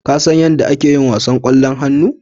Kasan yadda ake yin wasan ƙwallon hannu?